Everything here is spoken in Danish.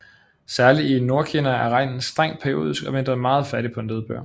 Særlig i Nordkina er regnen strengt periodisk og vinteren meget fattig på nedbør